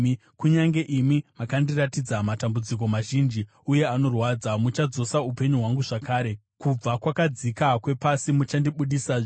Kunyange imi makandiratidza matambudziko mazhinji uye anorwadza, muchadzosa upenyu hwangu zvakare; kubva kwakadzika kwepasi muchandibudisazve.